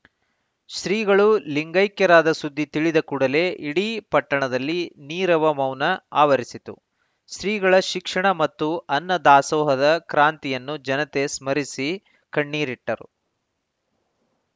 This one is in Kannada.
ಶ್ರೀಗಳು ಲಿಂಗೈಕ್ಯರಾದ ಸುದ್ಧಿ ತಿಳಿದ ಕೂಡಲೆ ಇಡೀ ಪಟ್ಟಣದಲ್ಲಿ ನೀರವ ಮೌನ ಆವರಿಸಿತು ಶ್ರೀಗಳ ಶಿಕ್ಷಣ ಮತ್ತು ಅನ್ನದಾಸೋಹದ ಕ್ರಾಂತಿಯನ್ನು ಜನತೆ ಸ್ಮರಿಸಿ ಕಣ್ಣೀರಿಟ್ಟರು